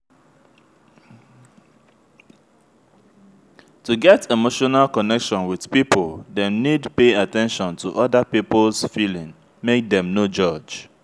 to get emotional connection with pipo dem need pay at ten tion to oda pipo's feeeling make dem no judge